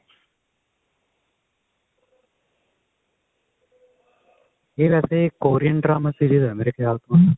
ਇਹ ਵੈਸੇ Korean drama series ਆ ਮੇਰੇ ਖਿਆਲ ਤੋਂ